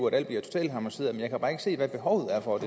at alt bliver totalharmoniseret men jeg kan bare ikke se hvad behovet er for at